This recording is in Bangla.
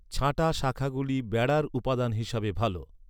ছাঁটা শাখাগুলি বেড়ার উপাদান হিসাবে ভাল।